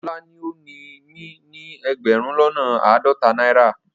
Ola ni o ni mi ni egberun lona aadota naira